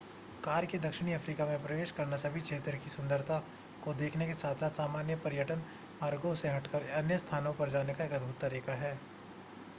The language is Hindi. कार से दक्षिणी अफ्रीका में प्रवेश करना सभी क्षेत्र की सुंदरता को देखने के साथ-साथ सामान्य पर्यटन मार्गों से हटकर अन्य स्थानों पर जाने का एक अद्भुत तरीका है